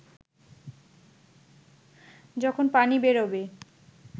যখন পানি বেরোবে